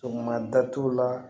Sɔgɔmada datugu la